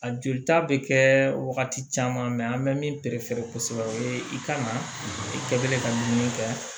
A jolita bɛ kɛ wagati caman mɛ an bɛ min kosɛbɛ o ye i ka na i kɛ ka dumuni kɛ